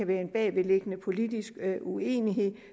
være en bagvedliggende politisk uenighed